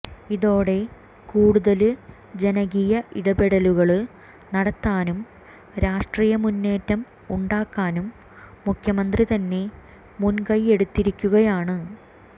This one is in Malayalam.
ഇതോടെ കൂടുതല് ജനകീയ ഇടപെടലുകള് നടത്താനും രാഷ്ട്രീയ മുന്നേറ്റം ഉണ്ടാക്കാനും മുഖ്യമന്ത്രി തന്നെ മുന്കൈയ്യെടുത്തിരിക്കുകയാണ്